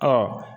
Ɔ